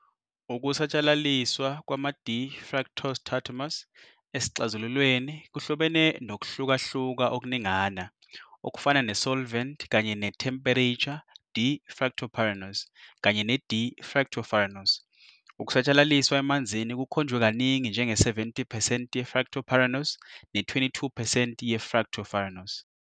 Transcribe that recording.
Ukusatshalaliswa kwama-d-fructose tautomers esixazululweni kuhlobene nokuhlukahluka okuningana, okufana ne-solvent kanye ne-temperature.d-Fructopyranose kanye ne-d-fructofuranose ukusatshalaliswa emanzini kukhonjwe kaningi njenge-70 percent ye-fructopyranose ne-22 percent ye-fructofuranose.